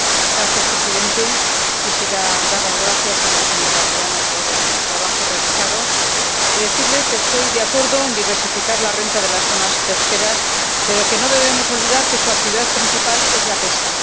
Señor presidente, quisiera dar las gracias a la señora Briano por el trabajo realizado y decirle que estoy de acuerdo en diversificar la renta de las zonas pesqueras, pero que no debemos olvidar que su actividad principal es la pesca.